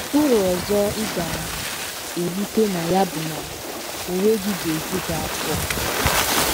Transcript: Uru ọzọ ị ga - erite na ya bụ na onwe gị ga - eju gị afọ.